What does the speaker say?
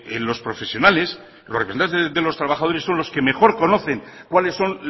los profesionales los representantes de los trabajadores son los que mejor conocen cuáles son